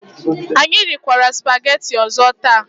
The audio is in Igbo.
Anyị rikwara sụpaghetị ọzọ taa.